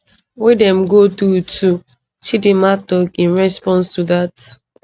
wey dem go through too chidimma tok in response to dat